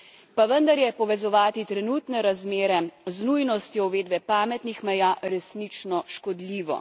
Pa vendar je povezovati trenutne razmere z nujnostjo uvedbe pametnih meja resnično škodljivo.